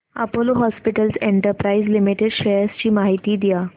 Apollo hospitals enterprise limited शेअर्स ची माहिती द्या